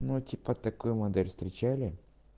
ну типа такую модель встречали